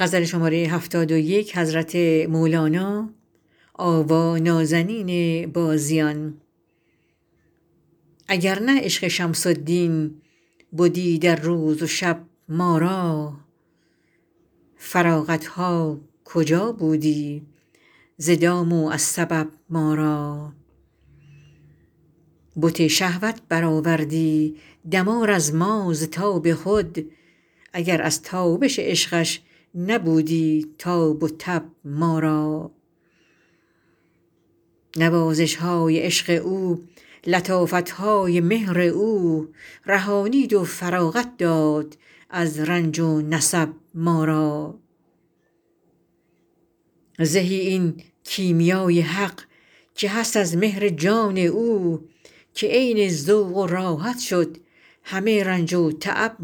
اگر نه عشق شمس الدین بدی در روز و شب ما را فراغت ها کجا بودی ز دام و از سبب ما را بت شهوت برآوردی دمار از ما ز تاب خود اگر از تابش عشقش نبودی تاب و تب ما را نوازش های عشق او لطافت های مهر او رهانید و فراغت داد از رنج و نصب ما را زهی این کیمیا ی حق که هست از مهر جان او که عین ذوق و راحت شد همه رنج و تعب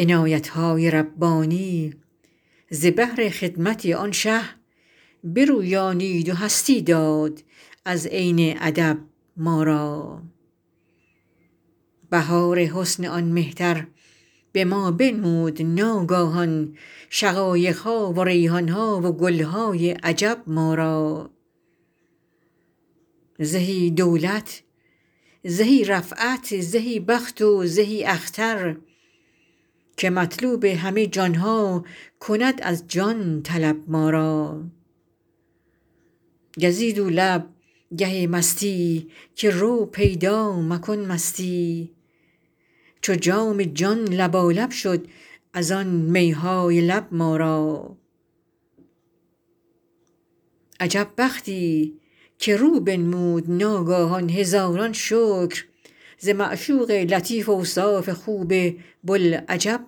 ما را عنایت های ربانی ز بهر خدمت آن شه برویانید و هستی داد از عین ادب ما را بهار حسن آن مهتر به ما بنمود ناگاهان شقایق ها و ریحان ها و گل های عجب ما را زهی دولت زهی رفعت زهی بخت و زهی اختر که مطلوب همه جان ها کند از جان طلب ما را گزید او لب گه مستی که رو پیدا مکن مستی چو جام جان لبالب شد از آن می های لب ما را عجب بختی که رو بنمود ناگاهان هزاران شکر ز معشوق لطیف اوصاف خوب بوالعجب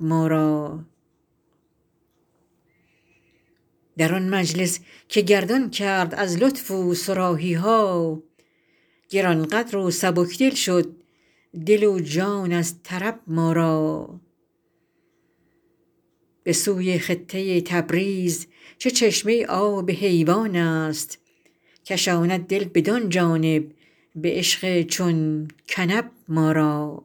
ما را در آن مجلس که گردان کرد از لطف او صراحی ها گران قدر و سبک دل شد دل و جان از طرب ما را به سوی خطه تبریز چه چشمه آب حیوان است کشاند دل بدان جانب به عشق چون کنب ما را